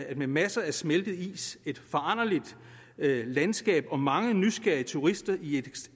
at med masser af smeltet is et foranderligt landskab og mange nysgerrige turister i et